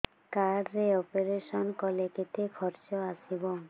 card ରେ operation କଲେ କେତେ ଖର୍ଚ ଆସିବ